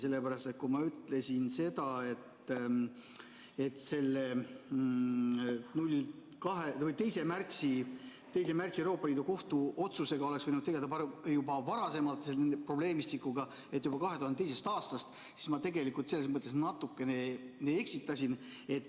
Sellepärast et kui ma ütlesin seda, et selle 2. märtsi Euroopa Liidu Kohtu otsusega oleks võinud tegelda juba varem, selle probleemistikuga, juba 2002. aastast, siis ma tegelikult selles mõttes natuke eksitasin.